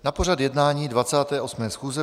Na pořad jednání 28. schůze